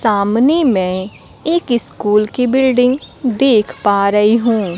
सामने में एक स्कूल की बिल्डिंग देख पा रही हूं।